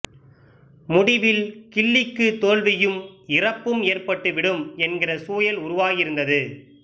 முடிவில் கிள்ளிக்கு தோல்வியும் இறப்பும் ஏற்பட்டு விடும் என்கிற சூழல் உருவாகியிருந்தது